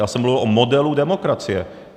Já jsem mluvil o modelu demokracie.